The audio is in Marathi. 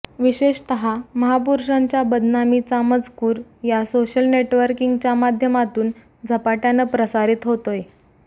विशेषतः महापुरूषांच्या बदनामीचा मजकूर या सोशल नेटवर्किंगच्या माध्यमातून झपाट्यानं प्रसारित होतोय